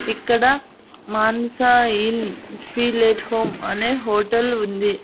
ఇక్కడ Manasa inn feel at home అనే hotel ఉంది.